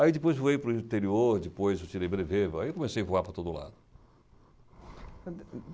Aí depois voei para o interior, depois eu tirei brevê, aí comecei a voar por todo lado.